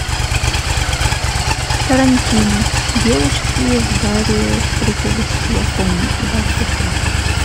тарантино девушки в баре встретились с чуваком и дальше что то